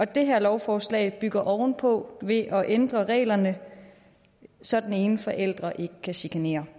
det her lovforslag bygger ovenpå ved at ændre reglerne så den ene forælder ikke kan chikanere